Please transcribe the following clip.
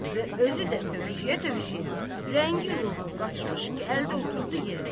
Və özü də tövşüyə-tövşüyə, rəngi-ruhu qaçmış, gəldi oturdu yerinə.